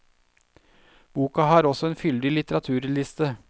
Boka har også en fyldig litteraturliste.